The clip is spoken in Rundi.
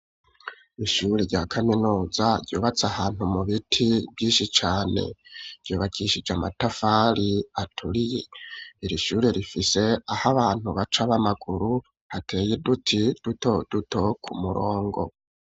Ishure rya kaminuza, ryubatse ahantu, mu biti vyinshi cane, ryubakishije amatafari aturiye; iri shure, rifise aho abantu baca, b'amaguru, hateye uduti duto duto, ku murongo.